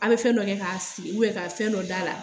An bɛ fɛn dɔ kɛ k'a si u bɛ ka fɛn dɔ d'a la